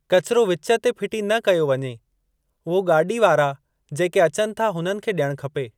कचरो वीच ते फिटी न कयो वञे, उहो गाॾी वारा जेके अचनि था हुननि खे ॾियणु खपे।